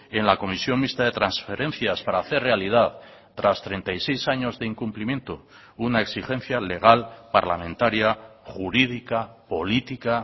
en la comisión mixta de transferencias para hacer realidad tras treinta y seis años de incumplimiento una exigencia legal parlamentaria jurídica política